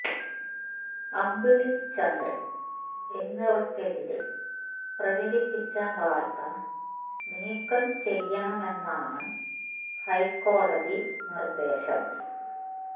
അമ്പിളി ചന്ദ്രൻ എന്നിവർക്കെതിരെ പ്രചരിപ്പിച്ച വാർത്ത നീക്കം ചെയ്യണമെന്നാണ് ഹൈക്കോടതി നിർദ്ദേശം